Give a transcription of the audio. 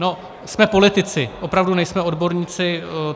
No, jsme politici, opravdu nejsme odborníci.